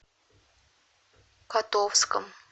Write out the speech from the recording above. котовском